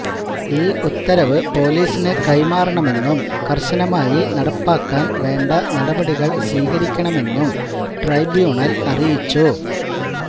ഈ ഉത്തരവ് പോലീസിന് കൈമാറണമെന്നും കര്ശനമായി നടപ്പാക്കാന് വേണ്ട നടപടികള് സ്വീകരിക്കണമെന്നും ട്രെബ്യൂണല് അറിയിച്ചു